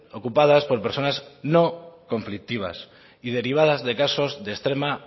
ocupadas por personas no conflictivas y derivadas de casos